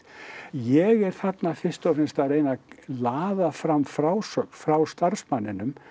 ég er þarna fyrst og fremst að reyna að laða fram frásögn frá starfsmanninum